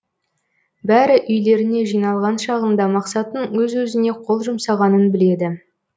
бәрі үйлеріне жиналған шағында мақсаттың өз өзіне қол жұмсағанын біледі